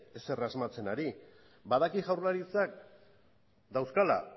ezer asmatzen ari badakit jaurlaritzak dauzkala